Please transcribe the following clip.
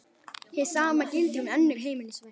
Hið sama gildir um önnur heimilisverk.